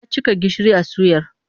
Ya cika gishiri a suyar.